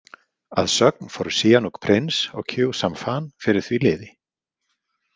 Að sögn fóru Sihanouk prins og Khieu Samphan fyrir því liði.